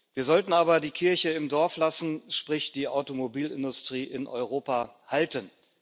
Wir sollten aber die Kirche im Dorf lassen, sprich die Automobilindustrie in Europa halten.